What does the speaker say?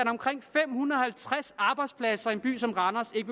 fem hundrede og halvtreds arbejdspladser i en by som randers ikke